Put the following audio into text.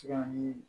Tikan ni